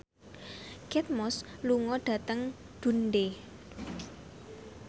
Kate Moss lunga dhateng Dundee